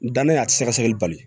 Dannen a ti sɛgɛsɛgɛli bali